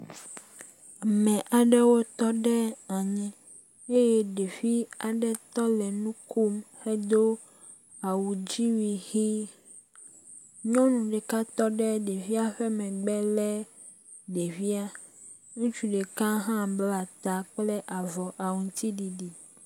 Ame aɖewo tɔ ɖe anyi eye ɖevi aɖe tɔ le nu kom hedo awudziwui ʋi. Nyɔnu ɖeka tɔ ɖe ɖevia megbe le ɖevia. Ŋutsu ɖeka hã bla ta kple avɔ aŋtsiɖiɖi.